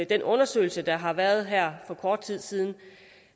den undersøgelse der har været her for kort tid siden